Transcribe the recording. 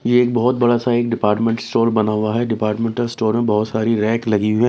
ये बहुत बड़ा सा एक डिपार्टमेंट स्टोर बना हुआ है डिपार्टमेंटल स्टोर में बहुत सारी रैक लगी हुई है।